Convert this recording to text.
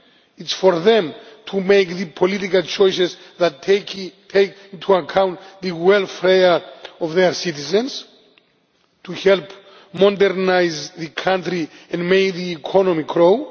It is for them to make the political choices that take into account the welfare of their citizens, to help modernise the country and make the economy grow.